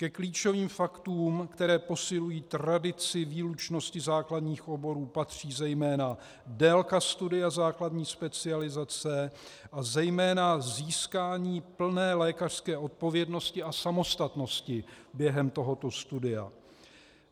Ke klíčovým faktům, které posilují tradici výlučnosti základních oborů, patří zejména délka studia základní specializace a zejména získání plné lékařské odpovědnosti a samostatnosti během tohoto studia.